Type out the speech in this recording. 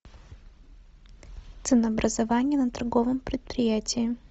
ценообразование на торговом предприятии